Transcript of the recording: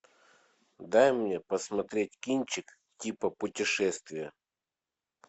дай мне посмотреть кинчик типа путешествия